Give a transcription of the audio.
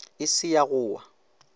e se ya go wa